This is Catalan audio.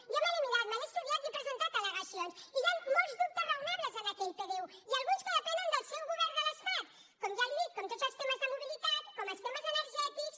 jo me l’he mirat me l’he estudiat i he presentat al·legacions i hi ha molts dubtes raonables en aquell pdu i alguns que depenen del seu govern de l’estat com ja li dic com tots els temes de mobilitat com els temes energètics